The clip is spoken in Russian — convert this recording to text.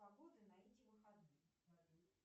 погода на эти выходные